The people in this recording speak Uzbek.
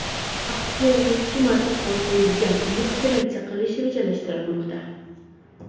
Aktyorga ikki marta qon quyilgan, uni operatsiya qilish rejalashtirilmoqda.